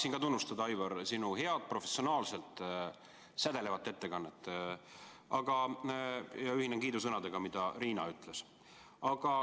Tahaksin tunnustada, Aivar, sinu head, professionaalset, sädelevat ettekannet ja ühinen kiidusõnadega, mida Riina ütles.